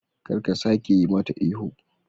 kar ka kara sake yimata ihu.